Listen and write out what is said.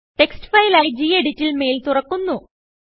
text ഫയലായി Geditൽ mail തുറക്കുന്നു